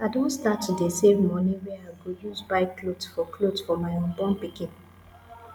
i don start to dey save money wey i go use buy cloth for cloth for my unborn pikin